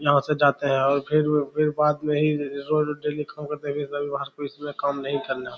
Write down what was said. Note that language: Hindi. यहां से जाते हैं और फिर फिर बाद मे ही डेली काम करते हैं रविवार को इसमें काम नहीं करना।